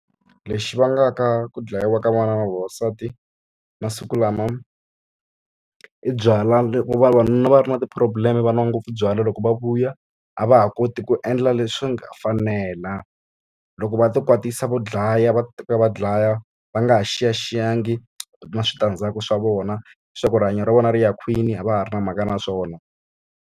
Lexi vangaka ku dlayiwa ka vana na vavasati, masiku lama i byalwa. Loko vavanuna va ri na ti-problem-e va nwa ngopfu byalwa, loko va vuya a va ha koti ku endla leswi swi nga fanela. Loko va ti kwatisa vo dlaya va teka va dlaya, va nga ha xiyaxiyangi na switandzhaku swa vona. Leswaku rihanyo ra vona ri ya kwini a va ha ri na mhaka na swona.